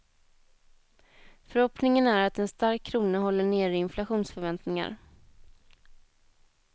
Förhoppningen är att en stark krona håller nere inflationsförväntningar.